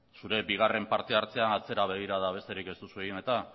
zure bigarren partehartzea atzera begirada besterik ez duzu egin eta